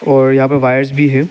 और यहां पर वायर्स भी हैं।